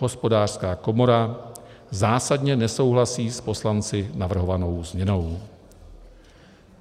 Hospodářská komora zásadně nesouhlasí s poslanci navrhovanou změnou.